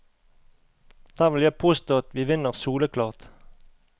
Der vil jeg påstå at vi vinner soleklart.